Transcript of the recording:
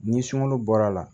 Ni sunkalo bɔra la